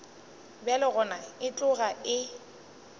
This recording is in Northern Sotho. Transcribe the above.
bjalo gona e tloga e